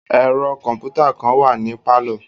Ẹ̀ro kọ̀mpútà kàn wà ní pálọ̀.